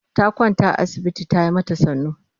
Ta kwanta a asibiti ba ya yi mata sannu.